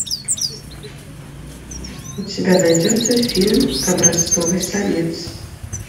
у тебя найдется фильм образцовый самец